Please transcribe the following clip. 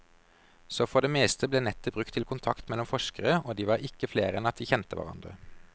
Så for det meste ble nettet brukt til kontakt mellom forskere, og de var ikke flere enn at de kjente hverandre.